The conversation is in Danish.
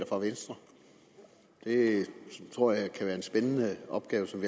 fra venstre det tror jeg kan være en spændende opgave som